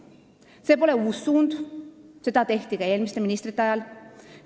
See pole uus suund, sellega tegeldi ka eelmiste ministrite ajal.